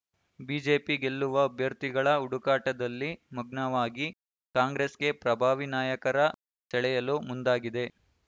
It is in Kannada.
ಬಿಜೆಪಿ ಗೆಲ್ಲುವ ಅಭ್ಯರ್ಥಿಗಳ ಹುಡುಕಾಟದಲ್ಲಿ ಮಗ್ನವಾಗಿ ಕಾಂಗ್ರೆಸ್‌ಗೆ ಪ್ರಭಾವಿ ನಾಯಕರ ಸೆಳೆಯಲು ಮುಂದಾಗಿದೆ